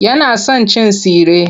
Yana son cin tsire.